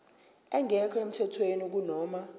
engekho emthethweni kunoma